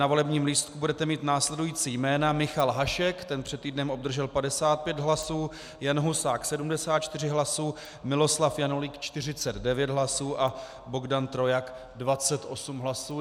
Na volebním lístku budete mít následující jména: Michal Hašek - ten před týdnem obdržel 55 hlasů, Jan Husák 74 hlasů, Miloslav Janulík 49 hlasů a Bohdan Trojak 28 hlasů.